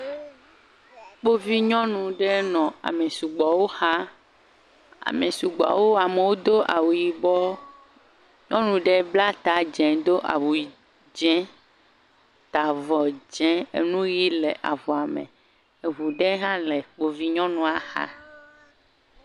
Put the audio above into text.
Kpovi nyɔnu nɔ ami sugbɔwo xa. Ame sugbɔwo. Amewo do awu yibɔ. Nyɔnu ɖe bla ta do awu yii dzẽ, enu yii le avɔa me. Eŋu ɖe tsɛ le Kpovi nyɔnua xa.